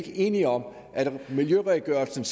enige om at miljøredegørelsen